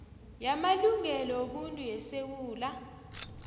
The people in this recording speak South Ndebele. yamalungelo wobuntu yesewula